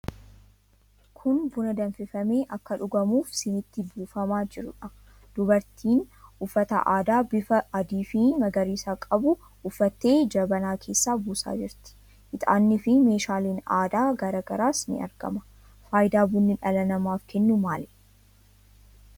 Kun buna danfifamee akka dhugamuuf siniitti buufamaa jiruudha. Dubartiin uffata aadaa bifa adiifi magariisa qabu uffattee jabanaa keessaa buusaa jirti. Ixaanniifi meeshaaleen aadaa garaa garaas ni argama. Faayidaa bunni dhala namaaf kennu maalidha?